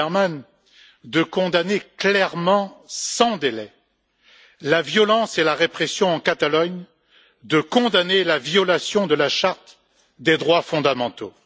Timmermans, de condamner clairement et sans délai la violence et la répression en Catalogne, et de dénoncer la violation de la charte des droits fondamentaux.